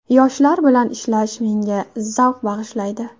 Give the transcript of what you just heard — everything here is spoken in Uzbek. Yoshlar bilan ishlash menga zavq bag‘ishlaydi.